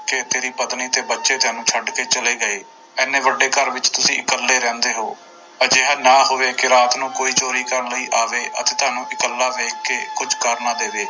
ਕਿ ਤੇਰੀ ਪਤਨੀ ਤੇ ਬੱਚੇ ਤੈਨੂੰ ਛੱਡ ਕੇ ਚਲੇ ਗਏ, ਇੰਨੇ ਵੱਡੇ ਘਰ ਵਿੱਚ ਤੁਸੀਂ ਇਕੱਲੇ ਰਹਿੰਦੇ ਹੋ ਅਜਿਹਾ ਨਾ ਹੋਵੇੇ ਕਿ ਰਾਤ ਨੂੰ ਕੋਈ ਚੋਰੀ ਕਰਨ ਲਈ ਆਵੇ ਅਤੇ ਤੁਹਾਨੂੰ ਇਕੱਲਾ ਵੇਖ ਕੇ ਕੁੱਝ ਕਰ ਨਾ ਦੇਵੇ।